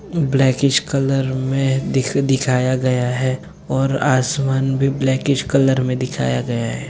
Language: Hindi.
ब्लॉकेज कलर में दिख दिखाया गया हैऔर आसमान भी ब्लॉकेज कलर में दिखाया गया है।